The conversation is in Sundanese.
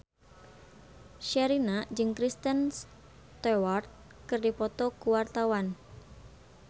Sherina jeung Kristen Stewart keur dipoto ku wartawan